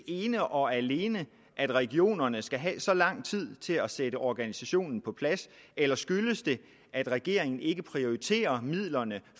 ene og alene er at regionerne skal have så lang tid til at sætte organisationen på plads eller skyldes det at regeringen ikke prioriterer midlerne